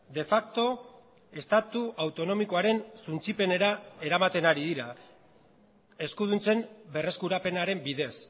de facto estatu autonomikoaren suntsipenera eramaten ari dira eskuduntzen berreskurapenaren bidez